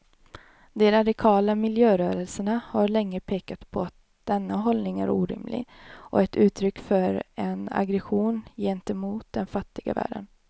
De radikala miljörörelserna har länge pekat på att denna hållning är orimlig och ett uttryck för en aggression gentemot den fattiga världen.